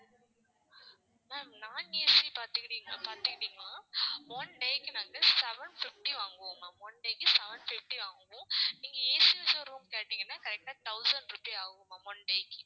ma'am non AC பாத்துக்கிட்டீங்கன்னா பாத்துக்கிட்டீங்கன்னா one day க்கு நாங்க seven fifty வாங்குவோம் ma'am one day க்கு seven fifty வாங்குவோம். நீங்க AC வச்ச room கேட்டீங்கன்னா correct ஆ thousand rupee ஆகும் ma'am one day க்கு